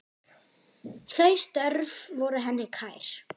Þau störf voru henni kær.